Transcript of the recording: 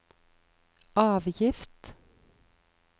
avgift